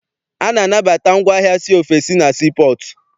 A na-anabata ngwaahịa si ofesi na sii pọọtụ.